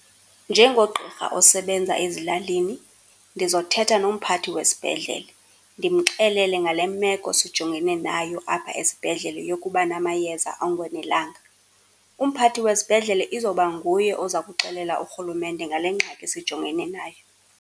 Njengogqirha osebenza ezilalini, ndizothetha nomphathi wesibhedlele, ndimxelele ngale meko sijongene nayo apha esibhedlele yokuba namayeza angonelanga. Umphathi wesibhedlele izoba nguye oza kuxelela urhulumente ngale ngxaki sijongene nayo.